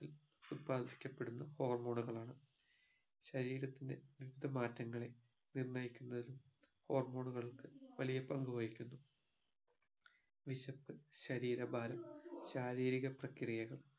ഉത്പാദിക്കപെടുന്ന hormone ഉകളാണ് ശരീരത്തിന്റെ വിവിധ മാറ്റങ്ങളെ നിര്ണയിക്കുന്നതിൽ hormone കൾക്ക് വലിയ പങ്കു വഹിക്കുന്നു വിശപ്പ് ശരീര ഭാരം ശാരീരിക പ്രക്രിയകൾ